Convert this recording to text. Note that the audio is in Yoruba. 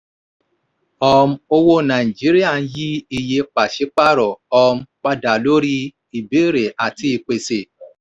um owó nàìjíríà ń yí iye pàṣípàrọ̀ um padà lórí ìbéèrè àti ìpèsè.